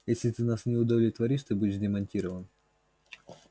если ты нас не удовлетворишь ты будешь демонтирован